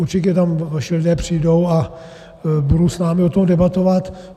Určitě tam vaši lidé přijdou a budou s námi o tom debatovat.